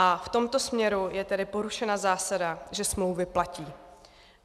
A v tomto směru je tedy porušena zásada, že smlouvy platí.